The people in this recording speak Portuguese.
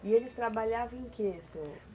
E eles trabalhavam em que, senhor?